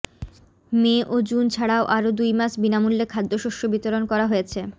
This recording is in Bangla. মে ও জুন ছাড়াও আরও দুইমাস বিনামূল্যে খাদ্যশস্য বিতরণ করা হয়েছে